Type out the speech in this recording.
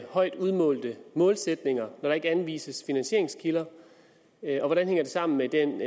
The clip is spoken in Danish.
højt udmålte målsætninger når der ikke anvises finansieringskilder og hvordan hænger det sammen med den